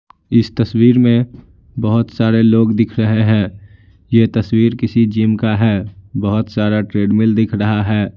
इस तस्वीर में बहुत सारे लोग दिख रहे हैं यह तस्वीर किसी जिम का है बहुत सारा ट्रेडमिल दिख रहा है।